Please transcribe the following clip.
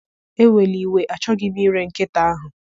Ewela iwe, achọghị m ire nkịta ahụ.